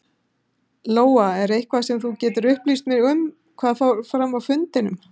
Lóa: Er eitthvað sem þú getur upplýst mig um hvað fór fram á fundinum?